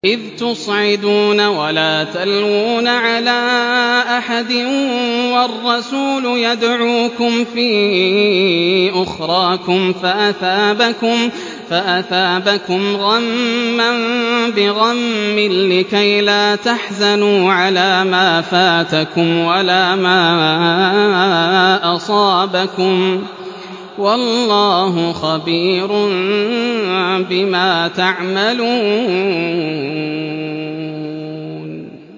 ۞ إِذْ تُصْعِدُونَ وَلَا تَلْوُونَ عَلَىٰ أَحَدٍ وَالرَّسُولُ يَدْعُوكُمْ فِي أُخْرَاكُمْ فَأَثَابَكُمْ غَمًّا بِغَمٍّ لِّكَيْلَا تَحْزَنُوا عَلَىٰ مَا فَاتَكُمْ وَلَا مَا أَصَابَكُمْ ۗ وَاللَّهُ خَبِيرٌ بِمَا تَعْمَلُونَ